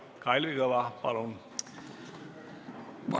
Kalvi Kõva, palun!